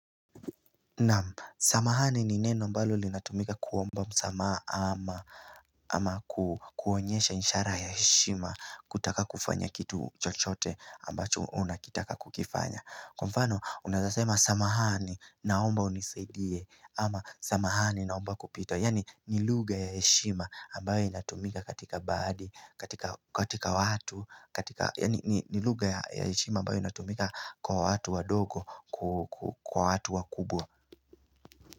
Samahani ni neno mbalo linatumika kuomba msamaha ama kuonyesha ishara ya heshima kutaka kufanya kitu chochote ambacho unakitaka kukifanya Kwa mfano unawezasema samahani naomba unisaidie ama samahani naomba kupita Yani nilugha ya heshima ambayo inatumika katika baadi, katika watu Yani nilugga ya heshima ambayo inatumika kwa watu wa dogo, kwa watu wa kubwa.